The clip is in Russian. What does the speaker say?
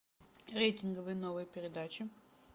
рейтинговые новые передачи